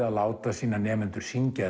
að láta sína nemendur syngja